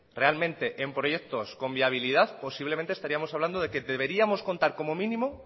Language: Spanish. realmente en proyectos con viabilidad posiblemente estaríamos hablando de que deberíamos contar como mínimo